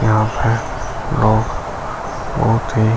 यहाँ पे लोग भोत ही --